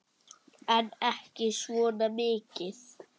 En ekki svona mikið.